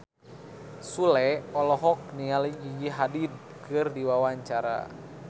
Sule olohok ningali Gigi Hadid keur diwawancara